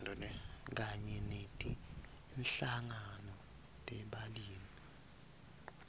kanye netinhlangano tebalimi